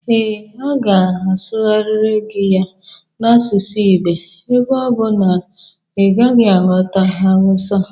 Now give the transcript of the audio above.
Ee, ọ ga asughariri gi ya n'asusu igbo ebe ọ bụ na i naghi aghota Hausa